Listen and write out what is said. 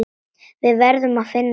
Við verðum að finna leið.